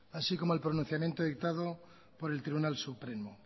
así como el pronunciamiento dictado por el tribunal supremo